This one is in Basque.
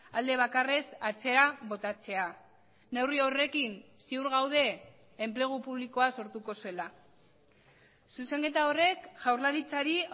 alde bakarrez atzera botatzea neurri horrekin ziur gaude enplegu publikoa sortuko zela zuzenketa horrek jaurlaritzari